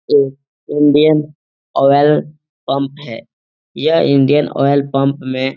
एक Indian oil pump है। यह इंडियन ऑयल पंप में --